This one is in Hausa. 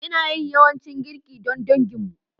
Ina yin yawancin girki don danginmu.